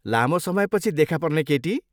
लामो समयपछि देखापर्ने केटी।